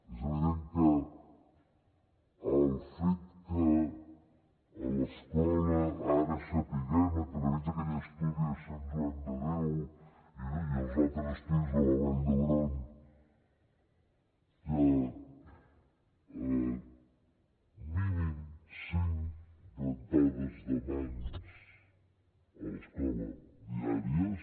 és evident que el fet que a l’escola ara sapiguem a través d’aquell estudi de sant joan de déu i els altres estudis de la vall d’hebron que mínim cinc rentades de mans a l’escola diàries